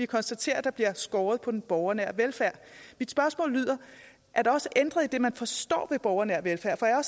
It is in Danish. konstatere at der bliver skåret ned på den borgernære velfærd mit spørgsmål lyder er der også ændret i det man forstår ved borgernær velfærd for jeg har